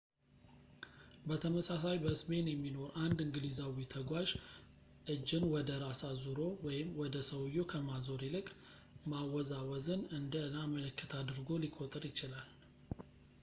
በተመሳሳይ፣ በስፔን የሚኖር አንድ እንግሊዛዊ ተጓዥ እጅን ወደ ራስ አዙሮ ወደ ሰውየው ከማዞር ይልቅ ማወዛወዝን እንደ ና ምልክት አድርጎ ሊቆጥር ይችላል